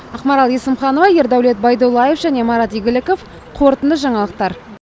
ақмарал есімханова ердәулет байдуллаев марат игіліко қорытынды жаңалықтар